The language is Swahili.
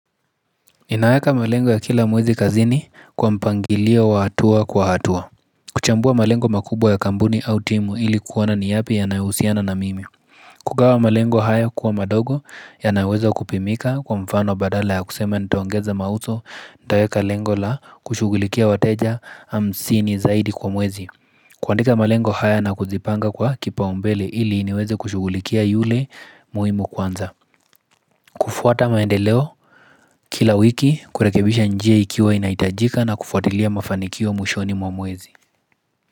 Inaweka malengo ya kila mwezi kazini kwa mpangilio wa hatua kwa hatua kuchambua malengo makubwa ya kampuni au timu ili kuona ni yapi yanayohusiana na mimi kugawa malengo haya kuwa madogo yanaweza kupimika kwa mfano badala ya kusema nitaongeza mauzo Nitaweka lengo la kushughulikia wateja hamsini zaidi kwa mwezi kuandika malengo haya na kuzipanga kwa kipaumbele ili niweze kushughulikia yule muhimu kwanza kufuata maendeleo Kila wiki kurekebisha njia ikiwa inahitajika na kufuatilia mafanikio mwishoni mwa mwezi.